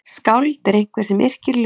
Skáld er einhver sem yrkir ljóð.